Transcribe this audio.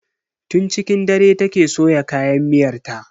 Tun cikin dare take soya kayan miyar ta.